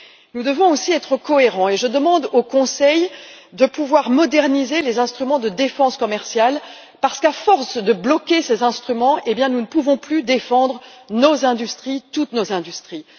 Nous devons aussi être cohérents et je demande au Conseil de pouvoir moderniser les instruments de défense commerciale parce qu'à force de bloquer ces instruments, nous ne pouvons plus défendre nos industries, toutes nos industries.